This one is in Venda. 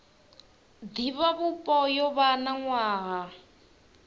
divhavhupo yo vha na nwaha